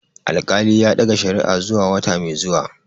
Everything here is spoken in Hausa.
Alƙali ya ɗaga shari'a zuwa wata mai zuwa.